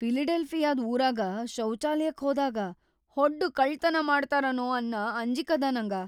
ಫಿಲಡೆಲ್ಫಿಯಾದ್‌ ಊರಾಗ ಶೌಚಾಲಯಕ್ಕ್ ಹೋದಾಗ ಹೊಡ್ದು ಕಳ್ಳತನಾ ಮಾಡ್ತಾರನೋ ಅನ್ನ ಅಂಜಿಕದ ನನಗ.